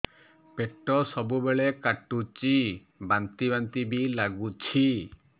ପେଟ ସବୁବେଳେ କାଟୁଚି ବାନ୍ତି ବାନ୍ତି ବି ଲାଗୁଛି